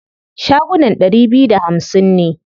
Shagunan ɗari biyu da hamsin ne.